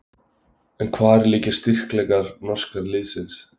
En hvar liggja styrkleikar norska liðsins?